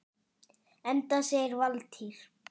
Enda segir Valtýr